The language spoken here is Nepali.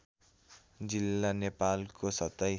जिल्ला नेपालको २७